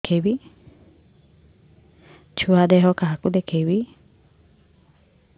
ଛୁଆ ଦେହ କାହାକୁ ଦେଖେଇବି